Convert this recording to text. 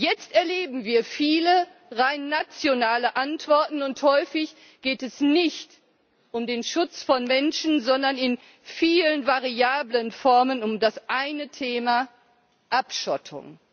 Jetzt erleben wir viele rein nationale Antworten, und häufig geht es nicht um den Schutz von Menschen, sondern in vielen variablen Formen um das eine Thema Abschottung.